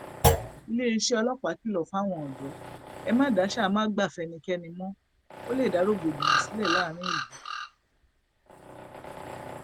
iléeṣẹ ọlọpàá kìlọ fáwọn ọdọ ẹ má daṣà má gba fẹnikẹni mọ ó lè dá rògbòdìyàn sílẹ láàrin ìlú